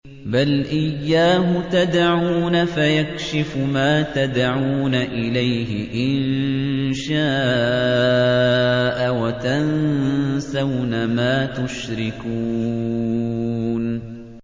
بَلْ إِيَّاهُ تَدْعُونَ فَيَكْشِفُ مَا تَدْعُونَ إِلَيْهِ إِن شَاءَ وَتَنسَوْنَ مَا تُشْرِكُونَ